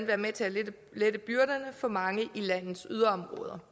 være med til at lette byrderne for mange i landets yderområder